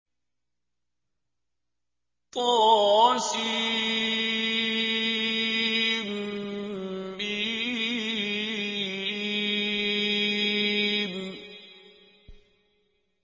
طسم